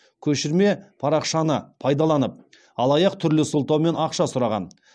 көшірме парақшаны пайдаланып алаяқ түрлі сылтаумен ақша сұраған